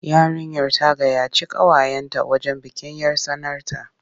Yarinyar ta gayyaci ƙawayenta wajen bikin 'yar tsanarta.